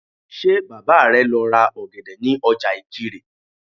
Ṣé Bàbá rẹ lọ ra ọ̀gẹ̀dẹ̀ ní ọjà Ìkirè?